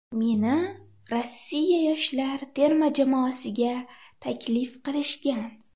Meni Rossiya yoshlar terma jamoasiga taklif qilishgan.